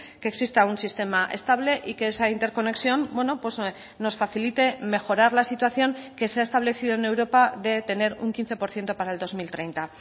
que exista un sistema estable y que esa interconexión nos facilite mejorar la situación que se ha establecido en europa de tener un quince por ciento para el dos mil treinta